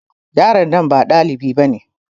Yaron nan ba dalibi bane.